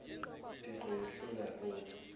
kathixo yadlula kuthi